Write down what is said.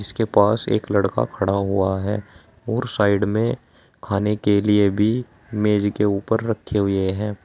के पास एक लड़का खड़ा हुआ है और साइड में खाने के लिए भी मेज के ऊपर रखे हुए हैं।